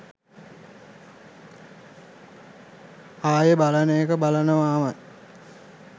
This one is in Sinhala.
ආයේ බලන එක බලනවාමයි.